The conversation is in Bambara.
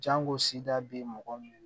Jango sida bɛ mɔgɔ min